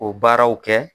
O baaraw kɛ